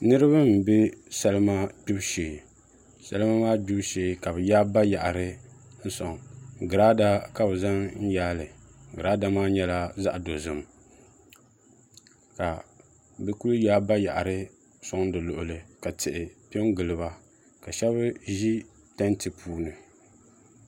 Niraba n bɛ salima gbibu shee salima maa gbibu shee ka bi yaai bayaɣari n soŋ girada ka bi zaŋ n yaali girada maa nyɛla zaɣ dozim ka bi ku yaai bayaɣari soŋ di luɣuli ka tihi piɛ n giliba ka shab ʒi tanti puuni